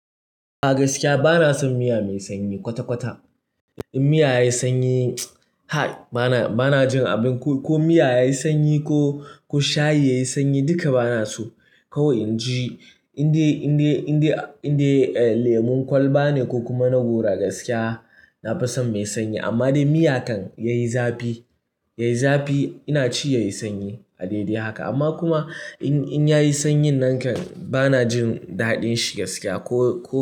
A gaskiya bana son miya mai sanyi kwata-kwata. In miya yayi sanyi, ha! Bana, bana jin abin ko, ko miya yayi sanyi ko, ko shayi yayi sanyi duka bana so. Kawai in ji inda, inda, inda, indai lemon kwalba ne ko kuma na gora gaskiya na fi son mai sanyi. Amma dai miya kan yayi zafi, yayi zafi ina ci yayi sanyi a daidai haka. Amma kuma in, in yayi sanyin nan kan bana jin daɗin shi gaskiya ko.